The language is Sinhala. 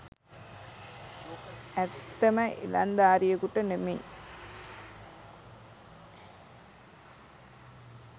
ඇත්තම ඉලංදාරියකුට නෙමෙයි.